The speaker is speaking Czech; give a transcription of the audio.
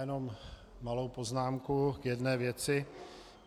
Jenom malou poznámku k jedné věci.